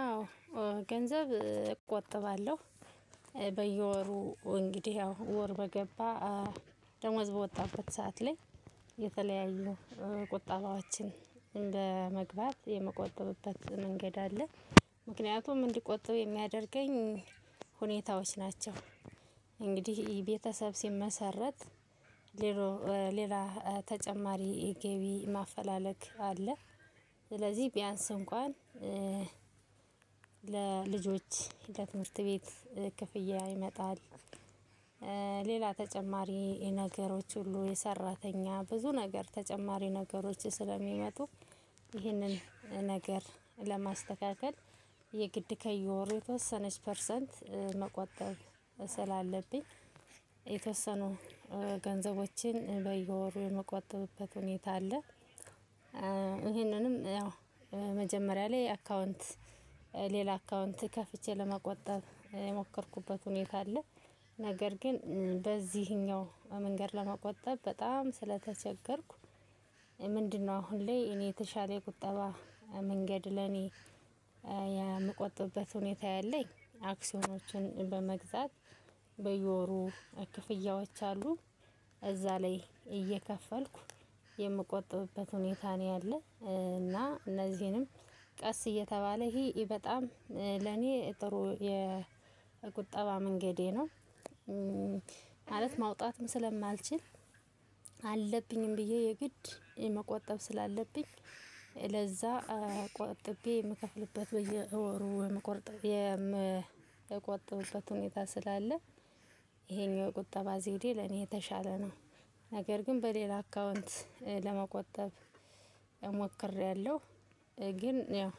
አዎ ገንዘብ እቆጥባለሁ። በየወሩ እንግዲህ ያው ወር በገባ ደሞዝ በወጣበት ሰዓት ላይ የተለያዩ ቁጠባዋችን በመግባት የምቆጥብበት መንገድ አለ። ምክንያቱም እንዲቆጥብ የሚያደርገኝ ሁኔታዎች ናቸው። እንግዲህ ቤተሰብ ሲመሰረት ሌላ ተጨማሪ ገቢ ማፈላለግ አለ። ስለዚህ ቢያንስ እንኳን ለልጆች ለትምህርት ቤት ክፍያ ይመጣል። ሌላ ተጨማሪ ነገሮች ሁሉ የሰራተኛ ብዙ ነገር ተጨማሪ ነገሮች ስለሚመጡ ይህንን ነገር ለማስተካከል የግድ ከየወሩ የተወሰነች ፐርሰንት መቆጠብ ስላለብኝ የተወሰኑ ገንዘቦችን በየወሩ የምቆጠብበት ሁኔታ አለ። ይሄንንም ያው መጀመሪያ ላይ አካውንት ሌላ አካውንት ከፍቼ ለመቆጠብ የሞከርኩበት ሁኔታ አለ። ነገር ግን በዚህኛው መንገድ ለመቆጠብ በጣም ስለተቸገርኩ። ምንድነው? አሁን ላይ እኔ የተሻለ የቁጠባ መንገድ ለኔ የምቆጥበት ሁኔታ ያለኝ አክሲዮኖችን በመግዛት በየወሩ ክፍያዎች አሉ እዛ ላይ እየከፈልኩ የምቆጥብበት ሁኔታ ነው ያለ እና እነዚህንም ቀስእየተባለ ይሄ ለኔ በጣም ጥሩ የቁጠባ መንገዴ ነው። ማለት ማውጣትም ስለማልችል አለብኝም ብዬ የግድ መቆጠብ። ለዛ ቆጥቤ የምከፍልበት በየወሩ የምቆርጥ የምቆጥበበት ሁኔታ ስላለ። ይሄኛው የቁጠባ ዘዴ ለኔ የተሻለ ነው። ነገር ግን በሌላ አካውንት ለመቆጠብ እሞክሬያለሁ። ግን ያው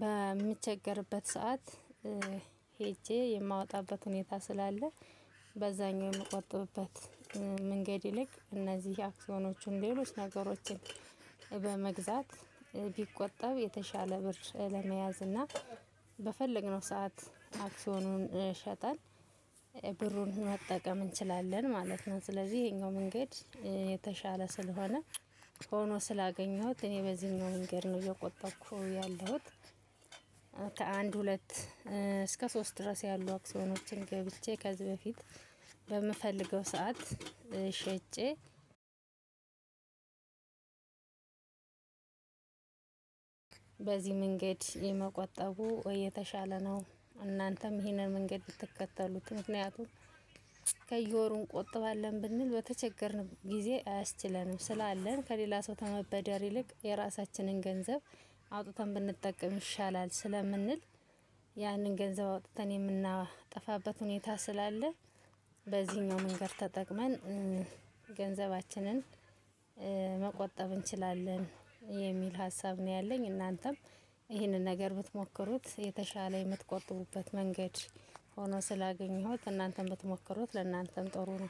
በምቸገርበት ሰዓት ሄጄ የማወጣበት ሁኔታ ስላለ። በዛኛው የምቆጥብበት መንገድ ይልቅ እነዚህ አክሲዮኖችን ሌሎች ነገሮችን በመግዛት ቢቆጠብ የተሻለ ብር ለመያዝ እና በፈለግነው ሰዓት አክሲዮኑን ሸጠን ብሩን መጠቀም እንችላለን ማለት ነው። ስለዚህ ይሄኛው መንገድ የተሻለ ስለሆነ ሆኖ ስላገኘሁት እኔ በዚህኛው መንገድ ነው እየቆጠብኩ ያለሁት። ከአንድ ሁለት እስከ ሶስት ድረስ ያሉ አክሶኖችን ገብቼ ከዚህ በፊት በምፈልገው ሰዓት ሸጬ በዚህ መንገድ የመቆጠቡ ወይ የተሻለ ነው። እናንተም ይሄንን መንገድ ብትከተሉት ምክንያቱም ከየወሩ እንቆጥባለን ብንል በተቸገርን ጊዜ አያስችለንም ስላለን ከሌላ ሰው ተመበደር ይልቅ የራሳችንን ገንዘብ አውጥተን ብንጠቀም ይሻላል ስለምንል። ያንን ገንዘብ አውጥተን የምናጠፋበት ሁኔታ ስላለ በዚህኛው መንገድ ተጠቅመን ገንዘባችንን መቆጠብ እንችላለን የሚል ሀሳብ ነው ያለኝ። እናንተም ይህንን ነገር ብትሞክሩት የተሻለ የምትቆጥቡበት መንገድ ሆኖ ስላገኘሁት እናንተም ብትሞከሩት ለእናንተም ጥሩ ነው